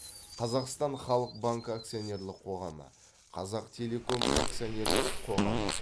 қазақстан халық банкі акционерлік қоғамы қазақтелеком акционерлік қоғамы